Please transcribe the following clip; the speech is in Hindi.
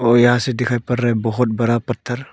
और यहां से दिखाई पर रहा बहुत बरा पत्थर।